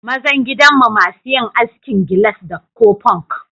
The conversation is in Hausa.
Mazan gidan mu masu yin askin galas ko funk.